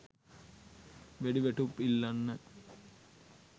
වෑඩි වෑටුප් ඉල්ලන්න.